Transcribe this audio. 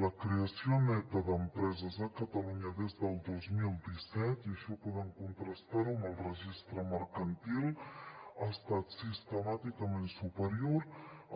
la creació neta d’empreses a catalunya des del dos mil disset i això poden contrastar ho amb el registre mercantil ha estat sistemàticament superior